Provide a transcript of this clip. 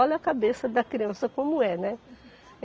Olha a cabeça da criança como é, né?